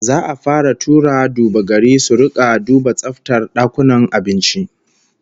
Za'a fara tura duba-gari su rika dina tsaftar dakunan abinci